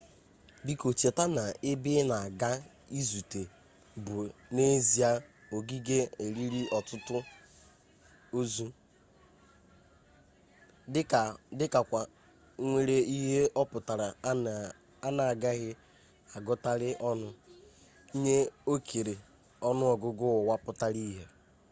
biko cheta na ebe ina aga izute bu n'ezie ogige eliri otutu ozu dika kwa nwere ihe-oputara ana agaghi agutali onu nye okere onu-ogugu uwa putara-ihe